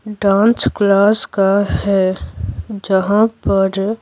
dance class का है जहां पर --